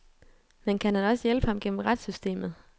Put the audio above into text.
Men kan han også hjælpe ham gennem retssystemet?